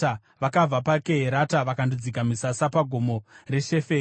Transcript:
Vakabva paKeherata vakandodzika misasa paGomo reSheferi.